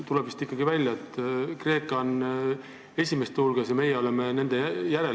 Tuleb siiski välja, et Kreeka on esimeste hulgas ja meie oleme nende järel.